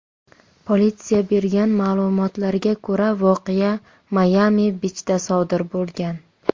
Politsiya bergan ma’lumotlarga ko‘ra, voqea Mayami-bichda sodir bo‘lgan.